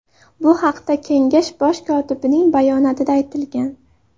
Bu haqda Kengash bosh kotibining bayonotida aytilgan .